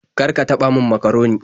Kar ka taɓa min makaroni.